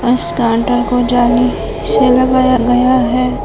और उस कांटा को जाली से लगाया गया है।